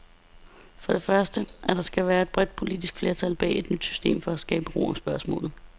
For det første, at der skal være et bredt politisk flertal bag et nyt system for at skabe ro om spørgsmålet.